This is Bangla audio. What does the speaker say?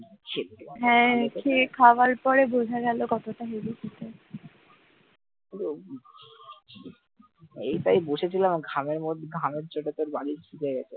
এইটাই বসেছিলাম ঘামহচ্ছে ঘামুচ্ছে বলে পুরো বালিশ ভিজে গেছে।